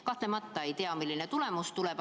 Kahtlemata ei tea, milline tulemus tuleb.